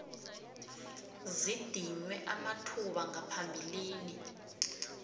zidinywe amathuba ngaphambilini